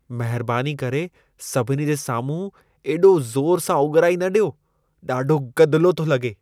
महिरबानी करे सभिनी जे साम्हूं एॾो ज़ोर सां ओॻिराई न ॾियो। ॾाढो गदिलो थो लॻे।